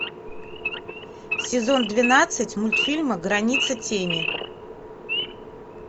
сезон двенадцать мультфильма граница тени